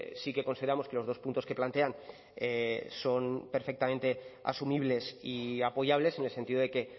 sí que consideramos que los dos puntos que plantean son perfectamente asumibles y apoyables en el sentido de que